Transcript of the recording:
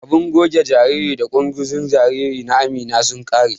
Abun goge jarirai da ƙunzugun jarirai na Amina sun ƙare.